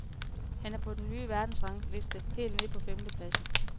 Han er på den nye verdensrangliste helt nede på femtepladsen.